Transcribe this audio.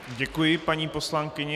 Děkuji, paní poslankyně.